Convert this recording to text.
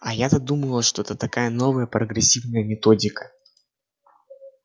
а я-то думала что это такая новая прогрессивная методика